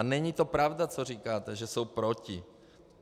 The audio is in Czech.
A není to pravda, co říkáte, že jsou proti.